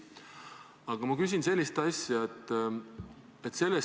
Aga ma küsin sellist asja.